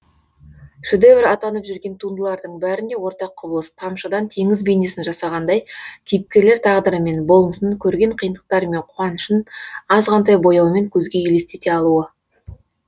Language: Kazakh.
шедевр атанып жүрген туындылардың бәрінде ортақ құбылыс тамшыдан теңіз бейнесін жасағандай кейіпкерлер тағдыры мен болмысын көрген қиындықтары мен қуанышын азғантай бояумен көзге елестете алуы